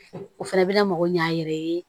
O fana bɛ na mako ɲa a yɛrɛ ye